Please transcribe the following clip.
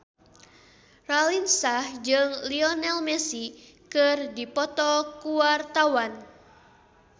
Raline Shah jeung Lionel Messi keur dipoto ku wartawan